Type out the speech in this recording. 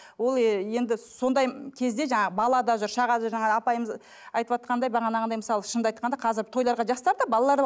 ол енді сондай кезде жаңа бала да жүр шаға да жаңа апайымыз айтыватқандай бағанағындай мысалы шынымды айтқанда қазір тойларға жастар да балалар